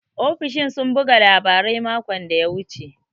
Ofishin sun buga labarai makon da ya wuce.